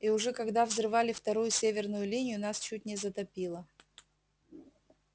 и уже когда взрывали вторую северную линию нас чуть не затопило